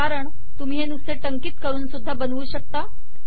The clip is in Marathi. कारण तुम्ही हे नुसते टंकित करून सुद्धा बनवू शकता